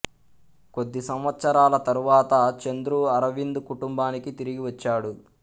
కొద్ది సంవత్సరాల తరువాత చంద్రు అరవింద్ కుటుంబానికి తిరిగి వచ్చాడు